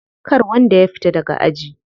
Kar wanda ya fita daga aji.